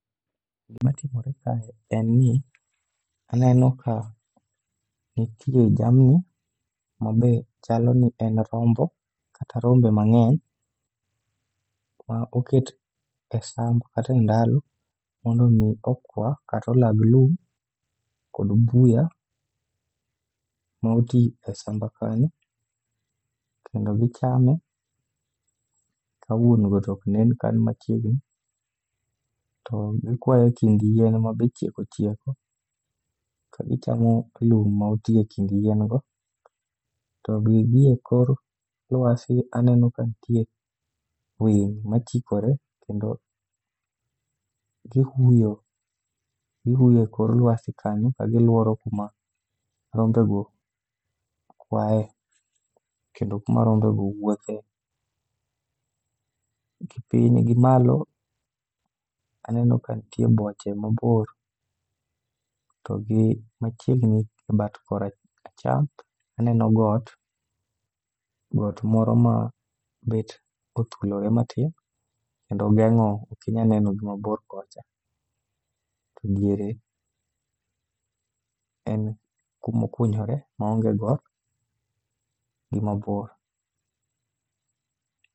Gimatimore kae en ni aneno ka nitie jamni mabe chalo ni en rombo kata rombe mang'eny ma oket e sangu kata e ndalo mondo om iokwa kata olag lum kod mbuya moti e samba kanyo ,kendo gichame ka wuon go ok nen kan machiegni. To gikwayo e tie yien mabe chieko chieko ka gichamo lum ma oti e kind yien go. To gie kor lwasi aneno ka nitie winy machikore kendo, gihuyo gihuyo e kor lwsai kanyo ka giluoro kuma rombego kwaye, kendo kuma rombego wuothe. Gipiny gi malo, aneno ka nitie boche mabor, to gi machiegni e bat koracham ,aneno got, got moro ma bed kothulore matin, kendo ogeng'o ok inyal neno gimabor kocha. To diere, en kuma okunyore maonge got gimabor.